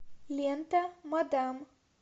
лента мадам